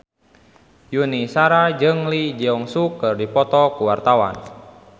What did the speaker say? Yuni Shara jeung Lee Jeong Suk keur dipoto ku wartawan